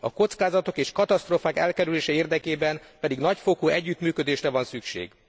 A kockázatok és katasztrófák elkerülése érdekében pedig nagyfokú együttműködésre van szükség.